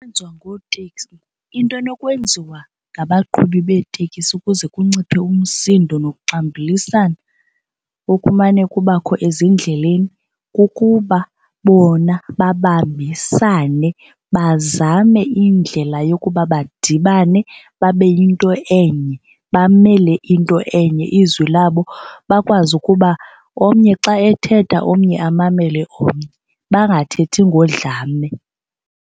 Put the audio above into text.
into enokwenziwa ngabaqhubi beetekisi ukuze kunciphe umsindo nokuxambulisana okumane kubakho ezindleleni kukuba bona babambisane bazame indlela yokuba badibane babe yinto enye bamele into enye izwi labo, bakwazi ukuba omnye xa ethetha omnye amamele omnye bangathethi ngodlame.